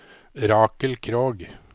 Rakel Krogh